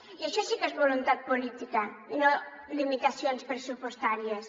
i això sí que és voluntat política i no limitacions pressupostàries